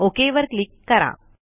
okay वर click करा